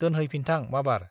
दोनहैफिनथां माबार।